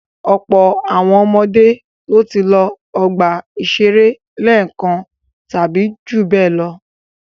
Ọ̀pọ̀ àwọn ọmọdé ló ti lọ ọgbà-ìṣeré lẹ́ẹ̀kan tàbí ju bẹ́ẹ̀ lọ.